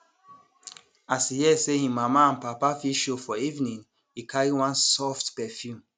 as e hear say him mama and papa fit show for evening e carry one soft perfume